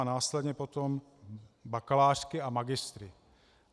A následně potom bakalářky a magistry.